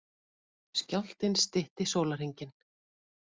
Skjálftinn stytti sólarhringinn